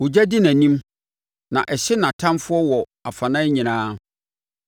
Ogya di nʼanim na ɛhye nʼatamfoɔ wɔ afanan nyinaa.